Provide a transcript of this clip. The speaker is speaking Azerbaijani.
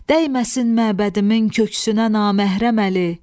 Dəyməsin məbədimin köksünə naməhrəm əli.